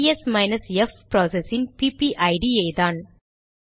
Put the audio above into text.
PS minus F process இன் PPID யேதான்